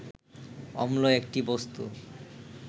অম্ল একটি বস্তু